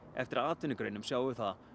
eftir atvinnugreinum sjáum við það